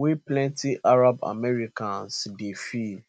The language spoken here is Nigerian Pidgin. wey plenti arab americans dey feel